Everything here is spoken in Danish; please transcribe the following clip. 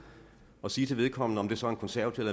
og sige til vedkommende om det så er en konservativ